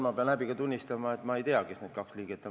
Ma pean häbiga tunnistama, et ma ei tea, kes need kaks liiget on.